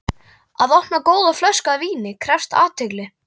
Að opna góða flösku af víni krefst athygli.